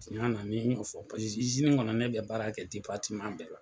Tiyanna ne m'o fɔ paseke kɔnɔ ne bɛ baara kɛ bɛɛ la.